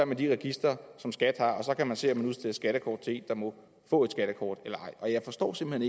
med de registre som skat har og så kan man se om der udstedes skattekort til en der må få et skattekort eller ej jeg forstår simpelt